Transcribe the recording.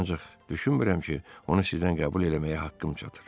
Ancaq düşünmürəm ki, onu sizdən qəbul eləməyə haqqım çatar.